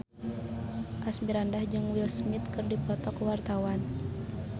Asmirandah jeung Will Smith keur dipoto ku wartawan